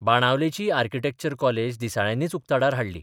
बाणावलेचीय architecture college दिसाळ्यांनीच उक्ताडार हाडली.